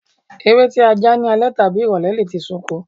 Ewé tí a já ní alẹ́ tàbí ìrọ̀lẹ́ lè ti sunko.